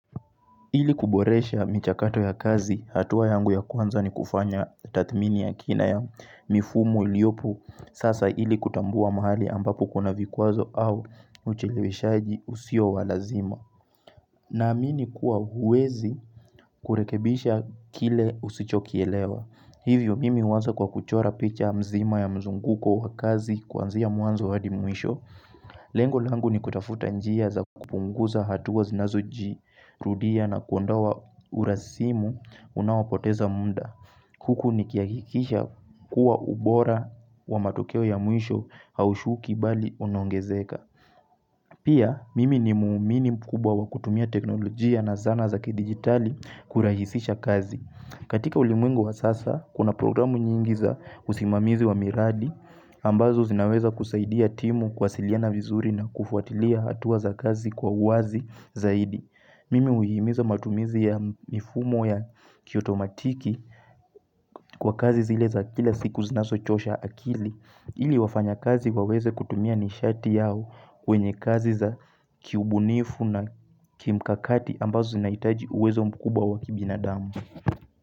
Ili kuboresha michakato ya kazi, hatua yangu ya kwanza ni kufanya tathmini ya kina ya mifumo iliopo sasa ili kutambua mahali ambapo kuna vikwazo au ucheleweshaji usio wa lazima. Naamini kuwa huwezi kurekebisha kile usichokielewa. Hivyo mimi huanza kwa kuchora picha mzima ya mzunguko wa kazi kuanzia mwanzo hadi mwisho. Lengo langu ni kutafuta njia za kupunguza hatua zinazojirudia na kuondoa urasimu unaopoteza muda. Huku nikihakikisha kuwa ubora wa matokeo ya mwisho haushuki bali unaongezeka. Pia mimi ni muumini mkubwa kutumia teknolojia na zana za kidigitali kurahisisha kazi. Katika ulimwengu wa sasa, kuna programu nyingi za usimamizi wa miradi, ambazo zinaweza kusaidia timu kuwasiliana vizuri na kufuatilia hatua za kazi kwa uwazi zaidi. Mimi huhimiza matumizi ya mifumo ya kiotomatiki kwa kazi zile za kila siku zinazochosha akili, ili wafanyikazi waweze kutumia nishati yao kwenye kazi za kiubunifu na kimkakati ambazo zinahitaji uwezo mkubwa wakibinadamu.